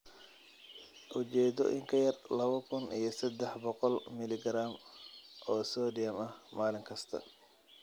Ujeedo in ka yar lawa kuun iyo sedax boqol milligaraam oo sodium ah maalin kasta.